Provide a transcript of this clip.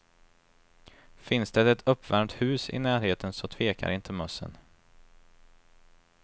Finns det ett uppvärmt hus i närheten så tvekar inte mössen.